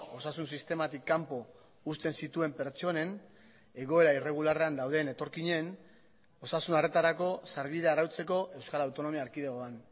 osasun sistematik kanpo uzten zituen pertsonen egoera irregularrean dauden etorkinen osasun arretarako sarbidea arautzeko euskal autonomia erkidegoan